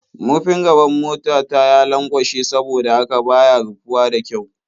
Murfin gaban mota ta ya lanƙwashe saboda haka ba ya rufuwa da ƙyau.